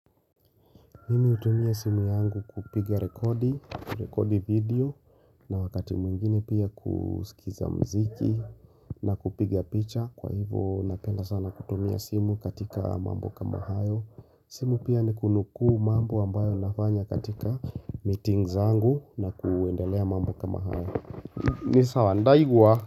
Mimi hutumia simu yangu kupiga rekodi, rekodi video na wakati mwingine pia kusikiza mziki na kupiga picha Kwa hivo napenda sana kutumia simu katika mambo kama hayo simu pia ni kunuku mambo ambayo nafanya katika meetings zangu na kuendelea mambo kama hayo ni sawa ndaigua.